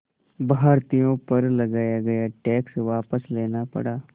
भारतीयों पर लगाया गया टैक्स वापस लेना पड़ा